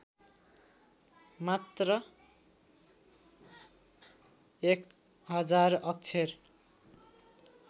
मात्र १००० अक्षर